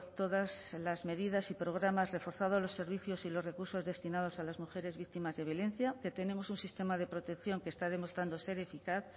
todas las medidas y programas reforzado los servicios y los recursos destinados a las mujeres víctimas de violencia que tenemos un sistema de protección que está demostrando ser eficaz